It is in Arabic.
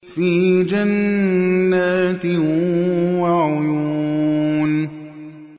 فِي جَنَّاتٍ وَعُيُونٍ